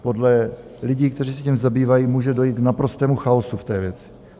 Podle lidí, kteří se tím zabývají, může dojít k naprostému chaosu v té věci.